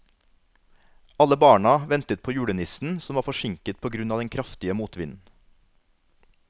Alle barna ventet på julenissen, som var forsinket på grunn av den kraftige motvinden.